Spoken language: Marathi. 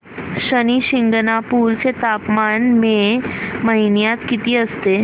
शनी शिंगणापूर चं तापमान मे महिन्यात किती असतं